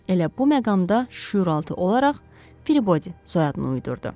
Elə bu məqamda şüuraltı olaraq Fribody soyadını uydurdu.